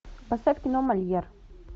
поставь кино мольер